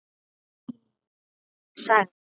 Tíminn sagði: